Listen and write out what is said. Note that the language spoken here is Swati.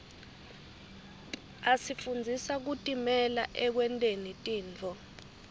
asifundzisa kutimela ekwenteni tintfo